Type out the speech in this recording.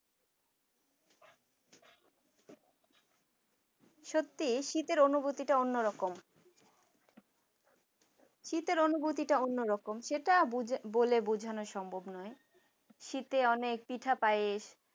সত্যিই শীতের অনুভূতিটা অন্যরকম শীতের অনুভূতিটা অন্যরকম সেটা বুঝে বলে বোঝানো সম্ভব নয় শীতে অনেক পিঠা পায়েস